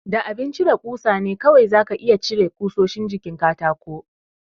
Da abin cire ƙusa ne kawai za ka iya cire ƙusoshin jikin katakon.